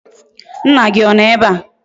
Nna gi Ono ebea?